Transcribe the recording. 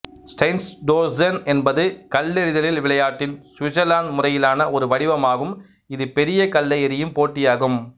Steinstossen என்பது கல்லெறிதல் விளையாட்டின் சுவிட்சர்லாந்து முறையிலான ஒரு வடிவமாகும் இது பெரிய கல்லை எறியும் போட்டியாகும்